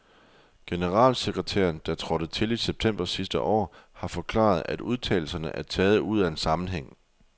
Generalsekretæren, der trådte til i september sidste år, har forklaret, at udtalelserne er taget ud af en sammenhæng.